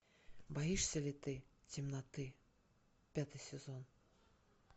боишься ли ты темноты пятый сезон